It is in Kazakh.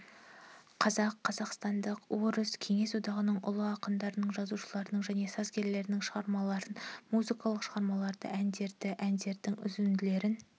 қазақ қазақстандық орыс кеңес одағының ұлы ақындарының жазушыларының және сазгерлерінің шығармаларын музыкалық шығармаларды әндерді әндердің үзінділерін